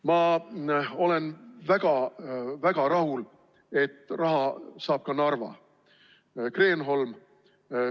Ma olen väga-väga rahul, et raha saab ka Narva Kreenholm.